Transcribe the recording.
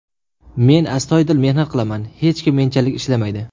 Men astoydil mehnat qilaman, hech kim menchalik ishlamaydi.